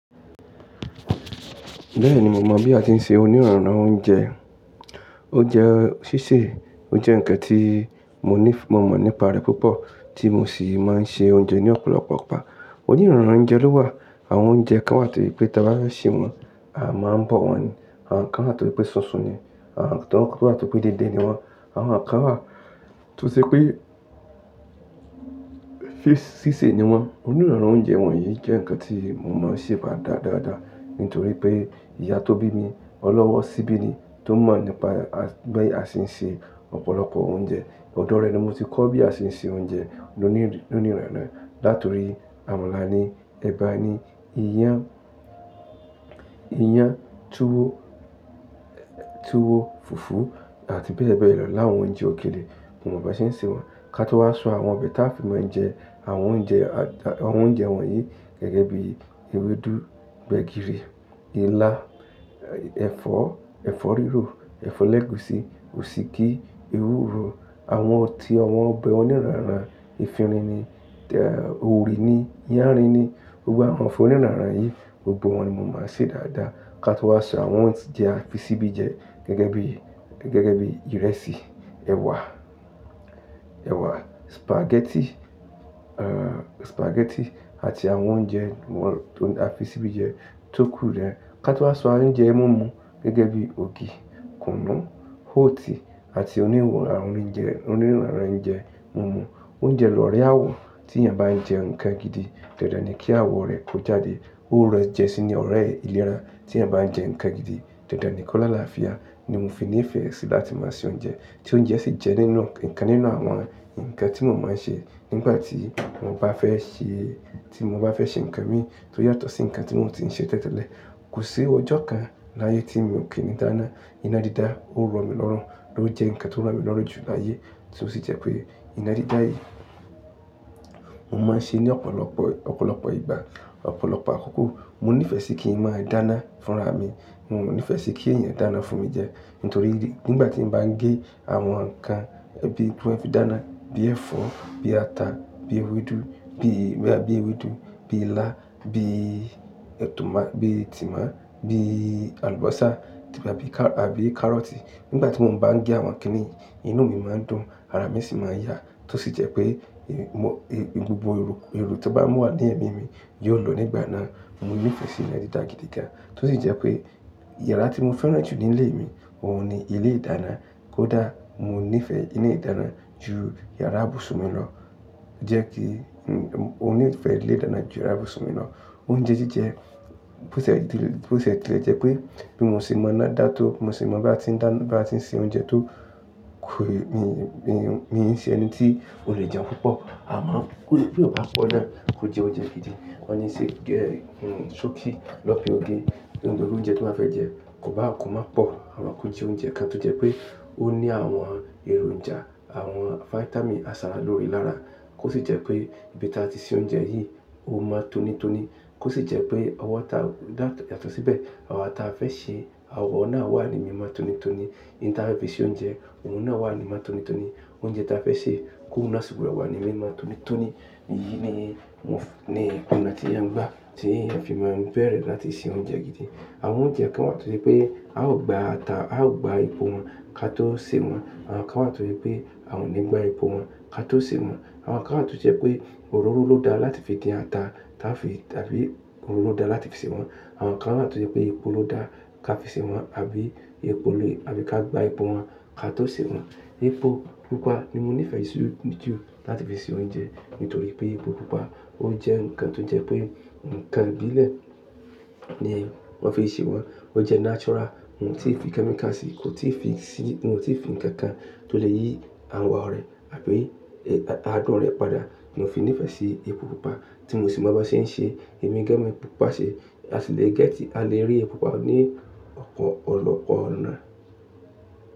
Bẹ́ẹ̀ni, mo mọ̀ bí a ti ń se onírọ̀rùn náà oúnjẹ. Ó jẹ́ sísè, ó jẹ́ ǹkan tí mo ní, mo mọ̀ nípa rẹ̀ púpọ̀, tí mo sì máa ń ṣe oúnjẹ ní ọ̀pọ̀lọpọ̀ ọ̀pá. Onírọ̀rùn oúnjẹ ló wà, àwọn oúnjẹ kan wà tó rí pé ta bá fẹ́ sè wọ́n, a máa ń bọ̀ wọ́n ni, àwọn kan wà tó rí pé sunsun ni, àwọn kan wà tó rí pé déédé ni wọ́n, àwọn kan wà tó ṣe pé si sísè ni wọ́n. Oníranrán oúnjẹ wọ̀nyí jẹ́ ǹkan tí mo máa ń ṣe bá dáadáa, nítorí pé ìyá tó bí mi, ọlọ́wọ́ síbí ni, tó mọ̀ nípa bí a ṣe ń ṣe ọ̀pọ̀lọpọ̀ oúnjẹ. Odò rẹ̀ ni mo ti kọ́ bí a ṣe ń ṣe oúnjẹ onírọ̀rùn náà. Látọ̀rí àwọn ńlá ní, ẹ̀bà ni, iyán, iyán, tuwo, tuwo, fùfú àti bẹ́ẹ̀ bẹ́ẹ̀ lọ láwọn oúnjẹ òkèlè, mo mọ̀ bí a ṣe ń ṣe wọ́n. Ka tó wá ṣọ àwọn bẹta fi máa ń jẹ àwọn oúnjẹ, àwọn oúnjẹ wọ̀nyí gẹ́gẹ́ bí ewédú, gbẹ̀gìrì, ilá, ẹ̀fọ́, ẹ̀fọ́ rírò, ẹ̀fọ́ lẹ́gùsí, òsíkí, ewúro, àwọn ọtí, ọ̀wọ́n, ọbẹ̀ onírọ̀rùn, efinrin ni, òwú ú rí ni, iyán rí ni. Gbogbo àwọn onírọ̀rùn yìí, gbogbo wọn ni mo máa ń ṣe dáadáa. Ka tó wá ṣọ àwọn oúnjẹ a fi síbi jẹ gẹ́gẹ́ bí, gẹ́gẹ́ bí ìrẹsì, ẹwà, ẹwà, spaghetti, uh, spaghetti àti àwọn oúnjẹ àwọn tó a fi síbi jẹ tóku rẹ. Ka tó wá ṣọ àwọn oúnjẹ mọ́mọ gẹ́gẹ́ bí ògì, kùnú, hóòtì àti onírọ̀rùn àwọn oúnjẹ, onírọ̀rùn oúnjẹ mọ́mọ. Oúnjẹ lórí àwọ̀ tí èèyàn bá ń jẹ ǹkan gidi, dẹ̀dẹ̀ ni kí àwọ̀ rẹ̀ kó jáde. Ó rẹ jẹ́ sí ní ọ̀rẹ́ ìlera tí èèyàn bá ń jẹ ǹkan gidi, dẹ̀dẹ̀ ni kó lá làáfíà ni mo fi nífẹ̀ẹ́ sí láti máa ṣe oúnjẹ. Tí oúnjẹ ṣe jẹ́ nínú ǹkan nínú àwọn ǹkan tí mo máa ń ṣe nígbà tí mo bá fẹ́ ṣe, tí mo bá fẹ́ ṣe ǹkan mi tó yàtọ̀ sí ǹkan tí mo ti ń ṣe tẹ́tẹ́lẹ̀. Kò sí ọjọ́ kan láyé tí mi ò kíni ìdána. Ìnádi dá, ó ń rọ̀ mí lọ́rùn, ló ń jẹ́ ǹkan tó ń rọ̀ mí lọ́rùn jù láyé, tí ó sì jẹ́ pé ìnádí dá yìí, mo máa ń ṣe ní ọ̀pọ̀lọpọ̀, ọ̀pọ̀lọpọ̀ ìgbà, ọ̀pọ̀lọpọ̀ àkókò. Mo nífẹ̀ẹ́ sí kí ń máa dáná fúnra mi. Mo ò nífẹ̀ẹ́ sí kí ẹ̀yin dáná fún mi jẹ, nítorí nígbà tí mo bá ń gé àwọn ǹkan ẹbí gbígbó ẹbí dáná bíi ẹ̀fọ́, bíi ata, bíi ewédú, bíi, bíi ewédú, bíi ilá, bíi atúmọ̀, bíi tòmátì, bíi àlùbọ́sà tàbí kárọ́tì. Nígbà tí mo ń bá ń gé àwọn kíní yìí, inú mi máa ń dùn, ara mi sì máa ń yá, tó sì jẹ́ pé gbogbo eò, eò tí ó bá wà ní ẹ̀mí mi yóò lọ nígbà náà. Mo nífẹ̀ẹ́ sí ìnádí dá gidi gan. Tó sì jẹ́ pé yàrá tí mo fẹ́ran jù nílé mi, òun ni ilé ìdáná. Kódà mo nífẹ̀ẹ́ ilé ìdáná ju yàrá ibùsùn mi lọ. Jẹ́ kí, òun nífẹ̀ẹ́ ilé ìdáná ju yàrá ibùsùn mi lọ. Oúnjẹ jíjẹ, bó ti lè jẹ́ pé bí mo ṣe mọ̀ náà dá tó, mo sì mọ̀ bí a ti ń dáná, bá ti ń ṣe oúnjẹ tó kù, mi n ṣe ẹni tí ò le jẹun púpọ̀. A máa ń, bí ò bá pọ̀ náà, kó jẹ oúnjẹ gidi. Wọ́n ní ṣe gé, sọ́kí lọ fi ògì, ohun tó jẹ́ oúnjẹ tí wọ́n fẹ́ jẹ, kò bá, kò má pọ̀, àwa kó jẹ oúnjẹ kan tó jẹ́ pé ó ní àwọn èròǹjà, àwọn fáítámì àsálò rí lára. Kó sì jẹ́ pé bí a bá ti ṣe oúnjẹ yìí, ó máa tónítóní. Kó sì jẹ́ pé àwọn táa yàtọ̀ síbẹ̀, àwọn táa fẹ́ sè, àwọn náà wà níbí máa tónítóní. Ìyí táa fi ṣe oúnjẹ, òun náà wà níbí máa tónítóní. Oúnjẹ táa fẹ́ sè kó wà níbi sìgbọ́n wà níbí máa tónítóní. Èyí ni mo ní, mo ní àti ìyà ń gbá, tí ẹ̀yin fi máa ń fẹ́ rẹ̀ láti ṣe oúnjẹ gidi. Àwọn oúnjẹ kan wà tó rí pé a ó gba ata, a ó gba epo wọn ka tó sè wọ́n. Àwọn kan wà tó rí pé a ò ní gba epo wọn ka tó sè wọ́n. Àwọn kan wà tó jẹ́ pé òróró ló da láti fi dín ata, táa fi tàbí òróró dá láti fi sè wọ́n. Àwọn kan wà tó jẹ́ pé epo ló da ká fi sè wọ́n, àbí epo ló, àbí ká gba epo wọn ka tó sè wọ́n. Epo púpà ni mo nífẹ̀ẹ́ jù láti fi ṣe oúnjẹ, nítorí pé epo Pupa ó jẹ́ ǹkan tó jẹ́ pé ǹkan ìbílẹ̀ ni wọ́n fi ṣe wọ́n. Ó jẹ́ natural, òún tí fi kẹ́míkà sí i, kò tí ì fi sí i, òún tí fi ǹkan kan tó lè yí àwọ̀ rẹ̀ àbí àádùn rẹ̀ padà. Mo fi nífẹ̀ẹ́ sí epo Pupa tí mo sì máa bá ṣe ń ṣe èmi gẹ́mi Pupa ṣe. A sì lè gẹ́tì, a lè rí epo Pupa ní ọ̀pọ̀lọpọ̀ ọ̀nà.